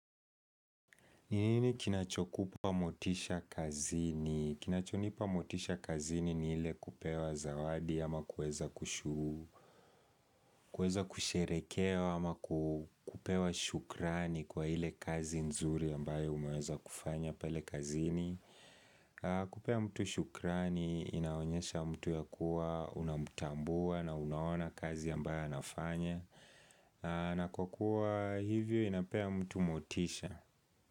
Ni nini kinachokupa motisha kazini? Kinachonipa motisha kazini ni ile kupewa zawadi ama kuweza kushu, kuweza kusherehekewa ama kupewa shukrani kwa ile kazi nzuri ambayo umeweza kufanya pale kazini. Kupea mtu shukrani inaonyesha mtu ya kuwa unamtambua na unaona kazi ambayo anafanya. Na kwa kuwa hivyo inapea mtu motisha.